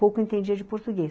Pouco entendia de português.